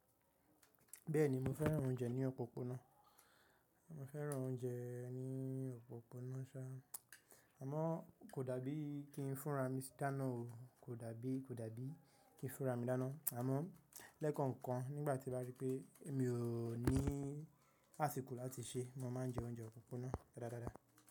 Bẹ́ẹ̀ni mo fẹ́ràn oúnjẹ ní òpópónà, mo fẹ́ràn oúnjẹ ní òpópónà ṣá, àmọ́ kò dàbí kí n fúnra mi dáná o, kò dàbí, kò dàbí kí n fúnra mi dáná. Àmọ́ lẹ́ẹ̀kookan kan nígbà tí n bá rí pé mi ò ní àsìkò láti se, mo má a jẹ oúnjẹ òpópónà dáadáa dáadáa.